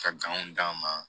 Ka d'a ma